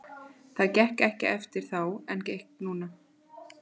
Það gekk ekki eftir þá en nú gekk það.